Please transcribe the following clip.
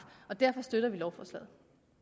derfor støtter vi lovforslaget